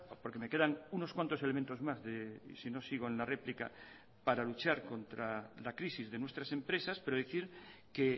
porque me quedan unos cuantos elementos más sino sigo en la réplica para luchar contra la crisis de nuestras empresas pero decir que